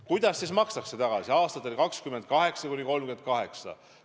Kuidas see makstakse tagasi aastatel 2028–2038?